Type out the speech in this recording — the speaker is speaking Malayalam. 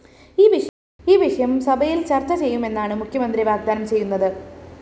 ഈ വിഷയം സഭയില്‍ ചര്‍ച്ച ചെയ്യുമെന്നാണ്‌ മുഖ്യമന്ത്രി വാഗ്ദാനം ചെയ്യുന്നത്‌